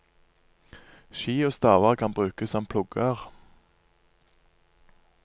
Ski og staver kan brukes som plugger.